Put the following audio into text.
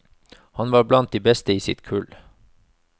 Han var blant de beste i sitt kull.